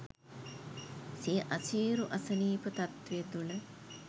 සිය අසීරු අසනීප තත්ත්වය තුළ